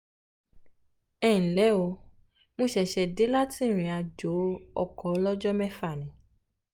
ẹ ǹ lẹ́ o mo ṣẹ̀ṣẹ̀ dé láti ìrìnàjò ọkọ̀ ọlọ́jọ́ mẹ́fà ni